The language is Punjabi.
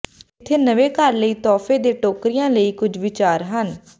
ਇੱਥੇ ਨਵੇਂ ਘਰ ਲਈ ਤੋਹਫ਼ੇ ਦੇ ਟੋਕਰੀਆਂ ਲਈ ਕੁਝ ਵਿਚਾਰ ਹਨ